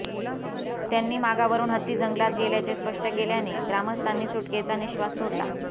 त्यांनी मागावरून हत्ती जंगलात गेल्याचे स्पष्ट केल्याने ग्रामस्थांनी सुटकेचा निःश्वास सोडला